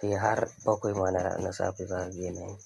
Sai har bakwai ma na safe za kaga yana yi.